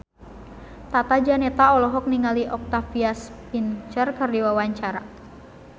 Tata Janeta olohok ningali Octavia Spencer keur diwawancara